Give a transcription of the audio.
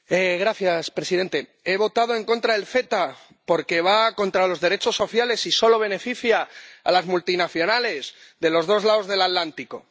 Señor presidente, he votado en contra del CETA porque va contra los derechos sociales y solo beneficia a las multinacionales de los dos lados del Atlántico.